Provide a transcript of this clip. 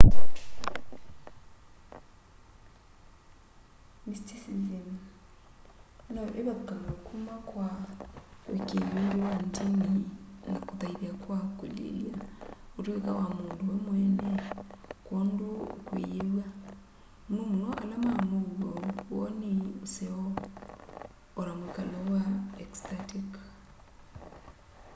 mysticism no ivathukanw'e kuma kwa uikii ungi wa ndini na kuthaitha kwa kulilya utuika wa mundu we mweene kwoondu ukwiyiw'a muno muno ala ma muuo woni useo o na mwikalo wa ecstatic